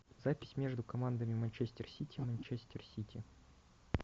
запись между командами манчестер сити манчестер сити